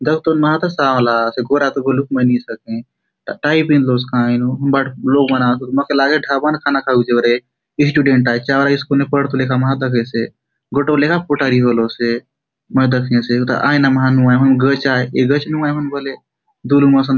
दखतोन मा तो सांवला आसे गौरा तो बोलुक नी सके ट टाई पिँधलोसे कायनुक हुन बाटे लोक मन आसोत मोके लागेसे ढांबा ने खाना खाउक जाऊ रहै स्टुडेंट आय चावड़ा स्कूल ने पढतो लेका मा दखेसे गोटक लेका पोंटारी होलोसे मै दखेसे हुथा आयना मा नुहाय हुन गच आय ए गच नुआय हुन बले दुलुम असन --